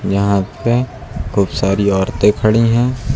यहां पे खूब सारी औरतें खड़ी है।